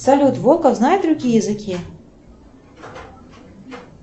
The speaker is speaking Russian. салют волков знает другие языки